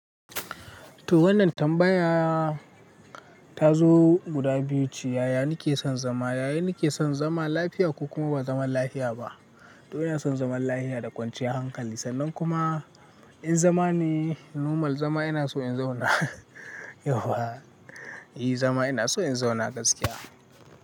To wannan tambaya ta zo guda biyuce yaya nake son zama yaya nake son zama lafiya ko kuma ba zaman lafiya ba. To ina son zaman lafiya da kwanciyar hankali sannan kuma in zama ne normal zama ina so in zauna yauwa. I zama ina so in zauna gaskiya.